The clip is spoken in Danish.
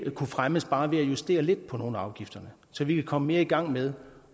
kunne fremmes ved bare at justere lidt på nogle af afgifterne så vi ville komme mere i gang med